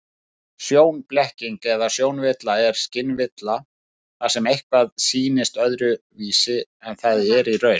Sjónblekking eða sjónvilla er skynvilla þar sem eitthvað sýnist öðruvísi en það er í raun.